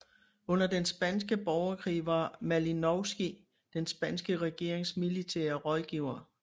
Under den spanske borgerkrig var Malinovskij den spanske regerings militære rådgiver